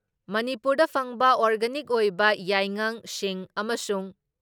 ꯃꯅꯤꯄꯨꯔꯗ ꯐꯪꯕ ꯑꯣꯔꯒꯥꯅꯤꯛ ꯑꯣꯏꯕ ꯌꯥꯏꯉꯪ, ꯁꯤꯡ ꯑꯃꯁꯨꯡ